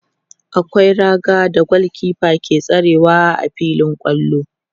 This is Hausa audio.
akwai raga da gulkefa ke tsayawa a filin kwallo